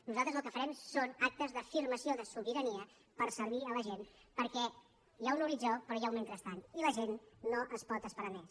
nosaltres el que farem són actes d’afirmació de sobirania per servir la gent perquè hi ha un horitzó però hi ha un mentrestant i la gent no es pot esperar més